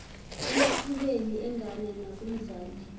emathubeni engane nakumzali